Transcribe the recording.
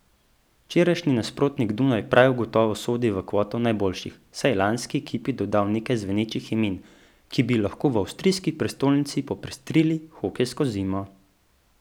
Včerajšnji nasprotnik Dunaj prav gotovo sodi v kvoto najboljših, saj je lanski ekipi dodal nekaj zvenečih imen, ki bi lahko v avstrijski prestolnici popestrili hokejsko zimo.